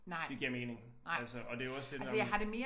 Det giver mening altså og det jo også det når man